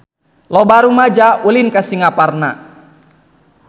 Loba rumaja ulin ka Singaparna